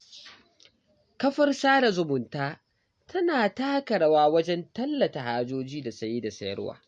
Kafar sada zumunta tana taka rawa wajen tallata hajoji da saye da sayarwa.